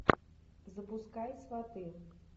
запускай сваты